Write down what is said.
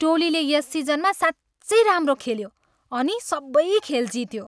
टोलीले यस सिजनमा साँच्चै राम्रो खेल्यो अनि सबै खेल जित्यो।